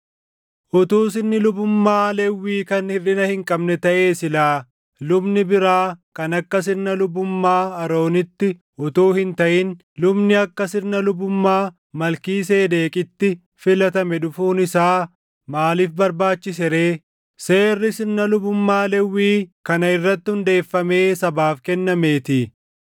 Utuu sirni lubummaa Lewwii kan hirʼina hin qabne taʼee, silaa lubni biraa kan akka sirna lubummaa Aroonitti utuu hin taʼin lubni akka sirna lubummaa Malkiiseedeqitti filatame dhufuun isaa maaliif barbaachise ree? Seerri sirna lubummaa Lewwii kana irratti hundeeffamee sabaaf kennameetii.